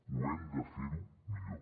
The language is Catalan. ho hem de fer millor